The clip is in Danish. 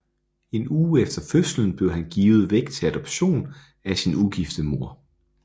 En uge efter fødslen blev han givet væk til adoption af sin ugifte mor